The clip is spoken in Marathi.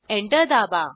एंटर दाबा